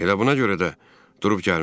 Elə buna görə də durub gəlmişəm.